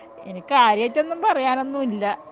ഇനി കാര്യായിട്ട് ഒന്നും പറയാൻ ഒന്നും ഇല്ല